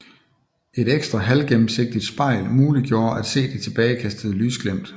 Et ekstra halvgennemsigtigt spejl muliggjorde at se de tilbagekastede lysglimt